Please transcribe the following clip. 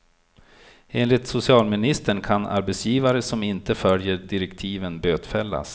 Enligt socialministern kan arbetsgivare som inte följer direktiven bötfällas.